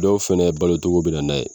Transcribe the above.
Dɔw fɛnɛ balo cogo bɛ nan'a ye.